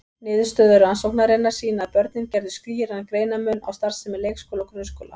Niðurstöður rannsóknarinnar sýna að börnin gerðu skýran greinarmun á starfsemi leikskóla og grunnskóla.